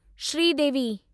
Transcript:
Sridevi